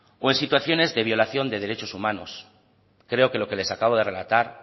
o en situación de violación de derechos humanos creo que lo que les acabo de relatar